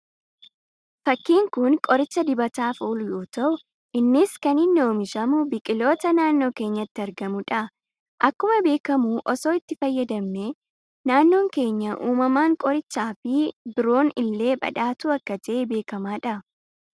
Fakkiin kun qoricha dibataaf oolu yoo ta'u, innis kan inni oomishamu biqiloota naannoo keenyatti argamudha. Akkuma beekamu, osoo itti fayyadamne, naannoon keenya uumamaan qoricha fi biroon illee badhaatuu akka ta'e beekamadha.